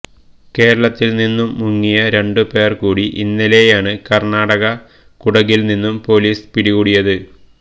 കേരളത്തിൽ നിന്നും മുങ്ങിയ രണ്ടു പേർ കൂടി ഇന്നലെയാണ് കർണാടക കുടകിൽ നിന്നും പൊലീസ് പിടികൂടിയത്